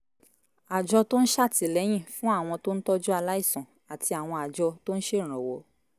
àjọ tó ń ṣàtìlẹ́yìn fún àwọn tó ń tọ́jú aláìsàn àti àwọn àjọ tó ń ṣèrànwọ́